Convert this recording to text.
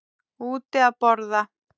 Úti að borða.